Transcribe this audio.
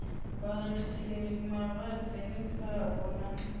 vha rathiseli malwadze khavho na